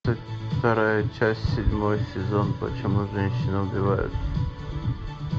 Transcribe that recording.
вторая часть седьмой сезон почему женщины убивают